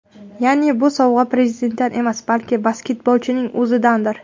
Ya’ni bu sovg‘a prezidentdan emas, balki basketbolchining o‘zidandir.